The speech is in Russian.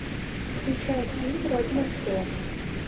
включай фильм родина ждет